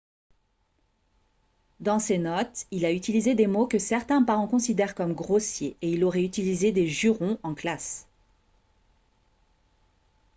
dans ses notes il a utilisé des mots que certains parents considèrent comme grossiers et il aurait utilisé des jurons en classe